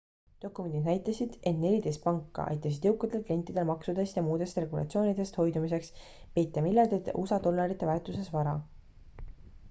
dokumendid näitasid et neliteist panka aitasid jõukatel klientidel maksudest ja muudest regulatsioonidest hoidumiseks peita miljardite usa dollarite väärtuses vara